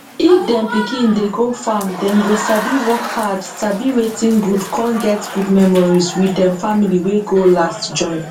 if dem pikin dey go farmdem go sabi work hardsabi wetin goodcon get good memories with dem family wey go last join